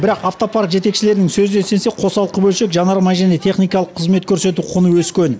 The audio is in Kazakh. бірақ автопарк жетекшілерінің сөзіне сенсек қосалқы бөлшек жанармай және техникалық қызмет көрсету құны өскен